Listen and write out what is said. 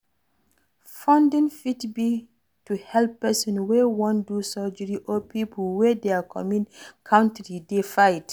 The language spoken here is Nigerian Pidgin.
Fundraising fit be to help person wey wan do surgery or pipo wey their country dey fight